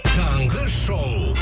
таңғы шоу